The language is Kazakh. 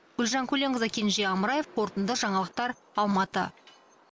гүлжан көленқызы кенже амраев қорытынды жаңалықтар алматы